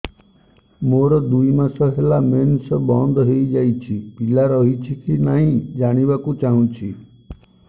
ମୋର ଦୁଇ ମାସ ହେଲା ମେନ୍ସ ବନ୍ଦ ହେଇ ଯାଇଛି ପିଲା ରହିଛି କି ନାହିଁ ଜାଣିବା କୁ ଚାହୁଁଛି